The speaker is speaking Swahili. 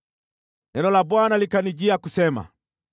Neno la Bwana likanijia kusema: